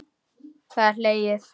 Það er hlegið.